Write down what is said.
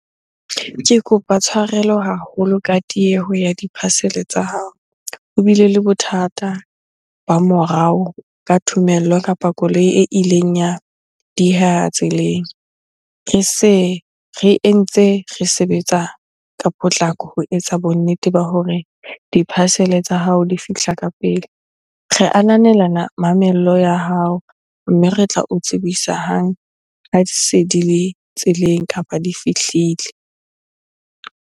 Ke kopa tshwarelo haholo ka tieho ya di-parcel-e tsa hao. Ho bile le bothata ba morao ka thomello kapa koloi e ileng ya dieha tseleng. Re se re entse re sebetsa ka potlako ho etsa bonnete ba hore di-parcel-e tsa hao di fihla ka pele. Re ananela mamello ya hao, mme re tla o tsebisa hang ha se di le tseleng kapa di fihlile.